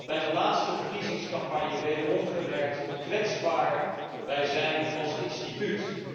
Bij de laatste verkiezingscampagne heb ik wederom gemerkt hoe kwetsbaar wij zijn als instituut.